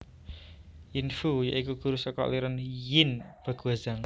Yin Fu ya iku guru saka aliran Yin Baguazhang